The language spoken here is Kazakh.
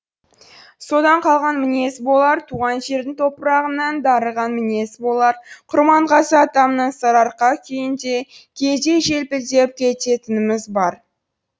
содан қалған мінез болар туған жердің топырағынан дарыған мінез болар құрманғазы атамның сарыарқа күйіндей кейде желпілдеп кететініміз бар